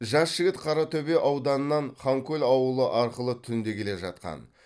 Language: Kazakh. жас жігіт қаратөбе ауданынан ханкөл ауылы арқылы түнде келе жатқан